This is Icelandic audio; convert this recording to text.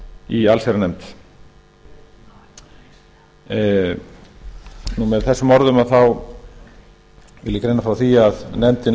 í allsherjarnefnd með þessum orðum vil ég greina frá því að nefndin